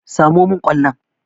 Samo min kwallon!